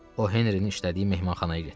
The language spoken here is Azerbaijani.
O Henrinin işlədiyi mehmanxanaya getdi.